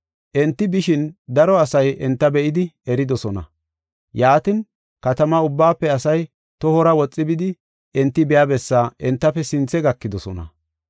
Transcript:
Enti bishin daro asay enta be7idi eridosona. Yaatin, katama ubbaafe asay tohora woxi bidi enti biya bessaa entafe sinthe gakidosona.